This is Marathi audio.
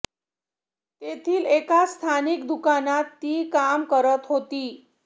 तेथील एका स्थानिक दुकानात ती काम करत होती